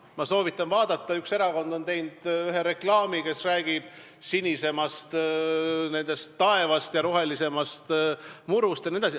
Ma soovitan vaadata, et üks erakond on teinud reklaami, kus räägitakse sinisemast taevast, rohelisemast murust jne.